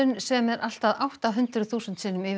sem er allt að átta hundruð þúsund sinnum yfir